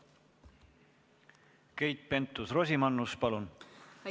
Keit Pentus-Rosimannus, palun!